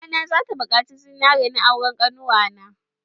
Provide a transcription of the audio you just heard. Mamana za ta buƙaci zinaria na auren ƙannuwa na.